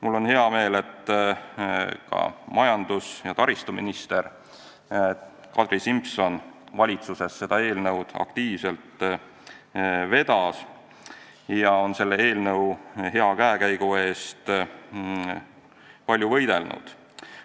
Mul on hea meel, et ka majandus- ja taristuminister Kadri Simson vedas seda valitsuses aktiivselt ja on selle eelnõu hea käekäigu eest palju võidelnud.